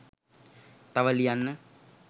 තව ලියන්න